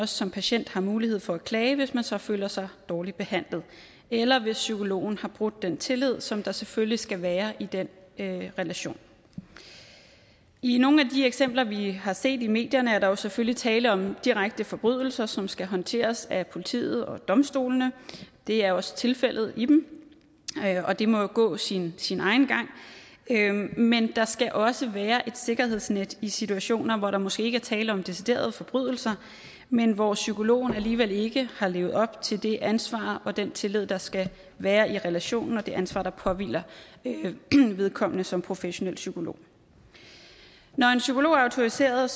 som patient har mulighed for at klage hvis man så føler sig dårligt behandlet eller hvis psykologen har brudt den tillid som der selvfølgelig skal være i den relation i nogle af de eksempler vi har set i medierne er der jo selvfølgelig tale om direkte forbrydelser som skal håndteres af politiet og domstolene det er også tilfældet i dem og det må jo gå sin sin egen gang men der skal også være et sikkerhedsnet i situationer hvor der måske ikke er tale om deciderede forbrydelser men hvor psykologen alligevel ikke har levet op til det ansvar og den tillid der skal være i relationen og det ansvar der påhviler vedkommende som professionel psykolog når en psykolog er autoriseret